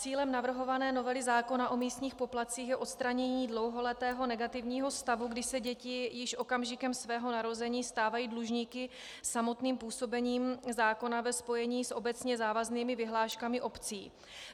Cílem navrhované novely zákona o místních poplatcích je odstranění dlouholetého negativního stavu, kdy se děti již okamžikem svého narození stávají dlužníky samotným působením zákona ve spojení s obecně závaznými vyhláškami obcí.